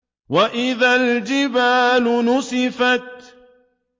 وَإِذَا الْجِبَالُ نُسِفَتْ